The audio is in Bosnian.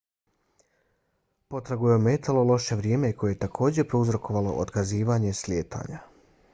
potragu je ometalo loše vrijeme koje je takođe prouzrokovalo otkazivanje slijetanja